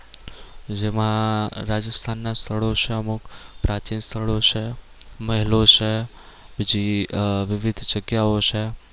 જેમાં રાજસ્થાન ના સ્થળો છે અમુક પ્રાચીન સ્થળો છે મહેલો છે પછી આહ વિવિધ જગ્યાઓ છે